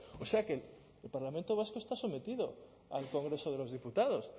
o sea que el parlamento vasco está sometido al congreso de los diputados